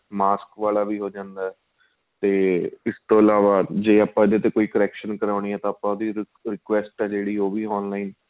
mask ਵਾਲਾ ਵੀ ਹੋ ਜਾਂਦਾ ਤੇ ਇਸ ਤੋ ਇਲਾਵਾਂ ਜ਼ੇ ਆਪਾਂ ਇਹਦੇ ਤੇ ਕੋਈ correction ਕਰਾਉਣੀ ਆਂ ਤਾਂ ਆਪਾਂ ਉਹਦੀ request ਆਂ ਜਿਹੜੀ ਉਹ ਵੀ online